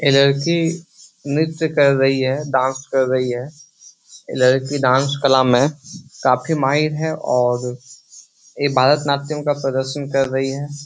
ये लड़की नृत्य कर रही है डांस कर रही है। ये लड़की डांस कला में काफी माहिर है और ये भारतनाट्यम का प्रदर्शन कर रही है।